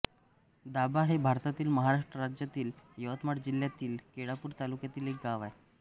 दाभा हे भारतातील महाराष्ट्र राज्यातील यवतमाळ जिल्ह्यातील केळापूर तालुक्यातील एक गाव आहे